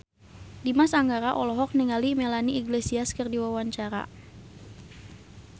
Dimas Anggara olohok ningali Melanie Iglesias keur diwawancara